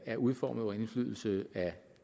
er udformet under indflydelse af